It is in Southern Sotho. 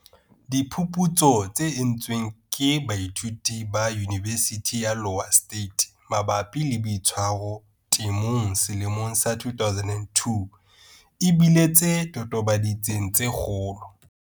Diphuputso tse entsweng ke baithuti ba Yunibesithi ya Iowa State mabapi le boitshwaro temong selemong sa 2002 e bile tse totobaditseng tse kgolo.